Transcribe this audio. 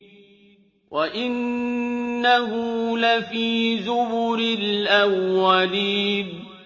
وَإِنَّهُ لَفِي زُبُرِ الْأَوَّلِينَ